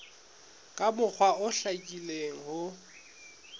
ka mokgwa o hlakileng ho